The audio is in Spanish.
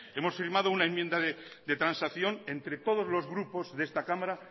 hemos firmado una enmienda de transacción entre todos los grupos de esta cámara